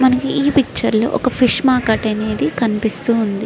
మనకి ఈ పిక్చర్ లో ఒక ఫిష్ మార్కెట్ అనేది కనిపిస్తుంది.